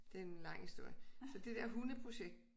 Det er en lang historie så det dér hundeprojekt